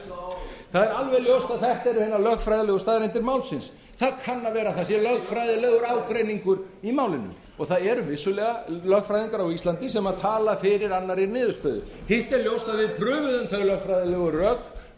hræðsluáróður það er alveg ljóst að þetta eru hinar lögfræðilegu staðreyndir málsins það kann að vera að það sé lögfræðilegur ágreiningur í málinu og það eru vissulega lögfræðingar á íslandi sem tala fyrir annarri niðurstöðu hitt er ljóst að við prufuðum þau lögfræðilegu rök